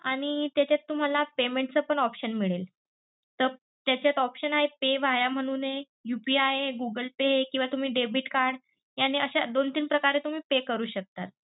आणि त्याच्यात तुम्हाला payment च पण option मिळेल तर त्याच्यात option आहे pay via म्हणूनआहे UPI, google pay किंवा तुम्ही debit card यांनी अश्या दोनतीन प्रकारे तुम्ही pay करू शकता.